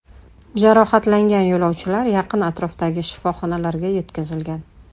Jarohatlangan yo‘lovchilar yaqin atrofdagi shifoxonalarga yetkazilgan.